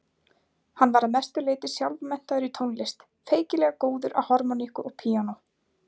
Hann var að mestu leyti sjálfmenntaður í tónlist, feikilega góður á harmóníku og píanó.